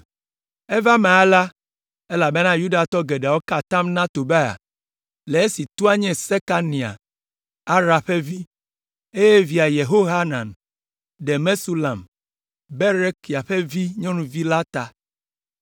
Eva eme alea elabena Yudatɔ geɖewo ka atam na Tobia le esi toa nye Sekania, Ara ƒe vi, eye via Yehohanan ɖe Mesulam, Berekia ƒe vi ƒe nyɔnuvi la ta.